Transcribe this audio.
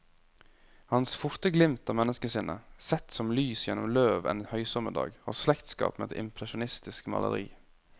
Hans forte glimt av menneskesinnet, sett som lys gjennom løv en høysommerdag, har slektskap med et impresjonistisk maleri.